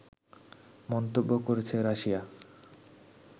মন্তব্য করেছে রাশিয়া